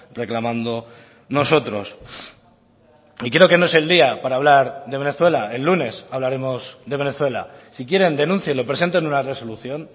reclamando nosotros y creo que no es el día para hablar de venezuela el lunes hablaremos de venezuela si quieren denúncienlo presenten una resolución